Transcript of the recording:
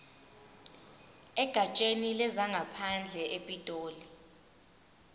egatsheni lezangaphandle epitoli